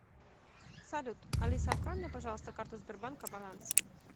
салют алиса открой мне пожалуйста карту сбербанка баланс